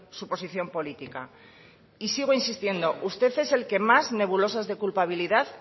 su posición política y sigo insistiendo usted es el que más nebulosas de culpabilidad